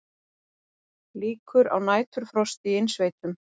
Líkur á næturfrosti í innsveitum